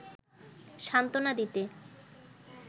সান্ত্বনা দিতে